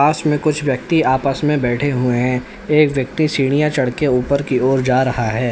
पास में कुछ व्यक्ति आपस मे बैठे हुए हैं एक व्यक्ति सीढ़ियां चढ़ के ऊपर की ओर जा रहा है।